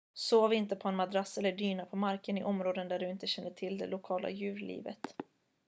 sov inte på en madrass eller dyna på marken i områden där du inte känner till det lokala djurlivet